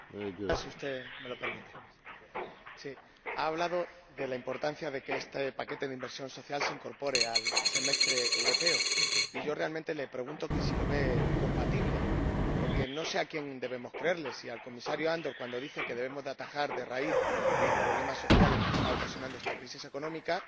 Señor Cercas, usted ha hablado de la importancia de que este paquete de inversión social se incorpore al Semestre Europeo, y yo realmente le pregunto si lo ve compatible porque no sé a quién debemos creer ¿al Comisario Andor, cuando dice que debemos atajar de raíz los problemas sociales que está ocasionando esta crisis económica,